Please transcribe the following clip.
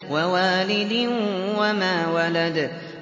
وَوَالِدٍ وَمَا وَلَدَ